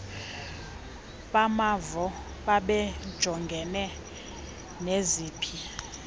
bamavo babejongene neziphi